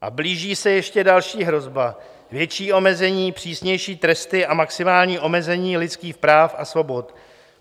A blíží se ještě další hrozba, větší omezení, přísnější tresty a maximální omezení lidských práv a svobod.